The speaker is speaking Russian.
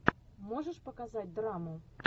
можешь показать драму